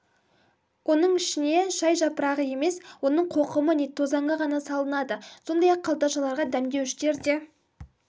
оның ішіне шай жапырағы емес оның қоқымы не тозаңы ғана салынады сондай-ақ қалташаларға дәмдеуіштер де